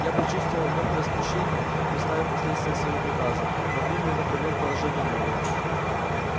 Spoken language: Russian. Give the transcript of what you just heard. я почувствовал лёгкое смущение представив последствия своего приказа но времени выправлять положение не было